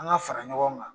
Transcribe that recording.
An ka fara ɲɔgɔn kan